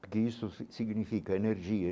Porque isso significa energia.